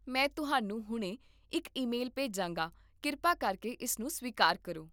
ਮੈਂ ਤੁਹਾਨੂੰ ਹੁਣੇ ਇੱਕ ਈਮੇਲ ਭੇਜਾਂਗਾ, ਕਿਰਪਾ ਕਰਕੇ ਇਸ ਨੂੰ ਸਵੀਕਾਰ ਕਰੋ